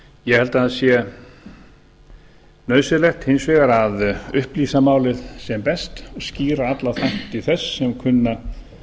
ég held að það sé nauðsynlegt hins vegar að upplýsa málið sem best og skýra alla þætti þess sem kunna